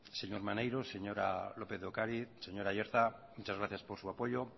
señor maneiro señora lópez de ocariz señor aiartza muchas gracias por su apoyo